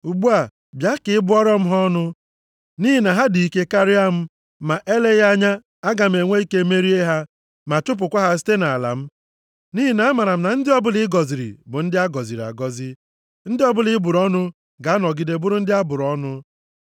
Ugbu a, bịa ka ị bụọrọ m ha ọnụ, nʼihi na ha dị ike karịa m. Ma eleghị anya aga m enwe ike merie ha, ma chụpụkwa ha site nʼala m. Nʼihi na amaara m na ndị ọbụla ị gọziri bụ ndị a gọziri agọzi, ndị ọbụla ị bụrụ ọnụ ga-anọgide bụrụ ndị a bụrụ ọnụ.”